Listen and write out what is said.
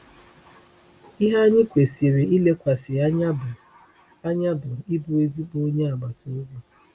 Ihe anyị kwesịrị ilekwasị anya bụ anya bụ ịbụ ezigbo onye agbata obi.